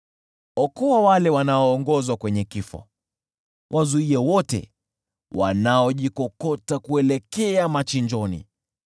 Okoa wale wanaoongozwa kwenye kifo; wazuie wote wanaojikokota kuelekea machinjoni.